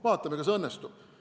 Vaatame, kas õnnestub.